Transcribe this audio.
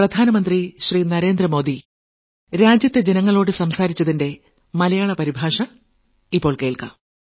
പതിമൂന്നാം ലക്കം